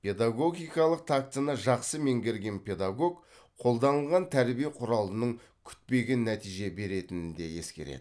педагогикалық тактіні жақсы меңгерген педагог қолданылған тәрбие құралының күтпеген нәтиже беретінін де ескереді